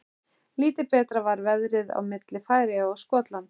Lítið betra var veðrið á milli Færeyja og Skotlands.